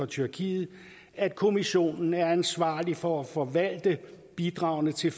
tyrkiet at kommissionen er ansvarlig for at forvalte bidragene til